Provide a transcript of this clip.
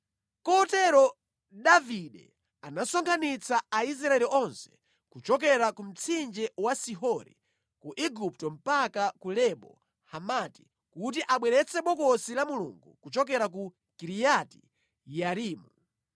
Kotero Davide anasonkhanitsa Aisraeli onse, kuchokera ku mtsinje wa Sihori ku Igupto mpaka ku Lebo Hamati, kuti abweretse Bokosi la Mulungu kuchokera ku Kiriati-Yearimu.